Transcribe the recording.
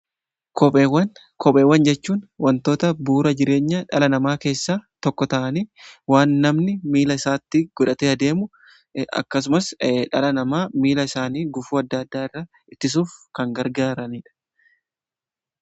Kopheewwan jechuun wantoota bu'uura jireenya dhala namaa keessa tokko ta'anii waan namni miila isaatti godhate adeemu akkasumas dhala namaa miila isaanii gufuu adda addaa irra ittisuuf kan gargaaraniidha.